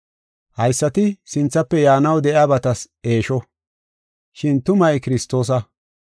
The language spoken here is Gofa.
Haysati sinthafe yaanaw de7iyabatas eesho, shin tumay Kiristoosa.